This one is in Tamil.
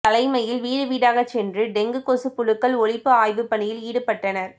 தலைமையில் வீடு வீடாகச்சென்று டெங்கு கொசுப் புழுக்கள் ஒழிப்பு ஆய்வுப்பணியில் ஈடுபட்டனா்